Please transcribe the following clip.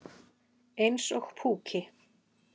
Eins og púki.